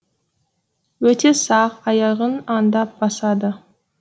өте сақ аяғын аңдап басады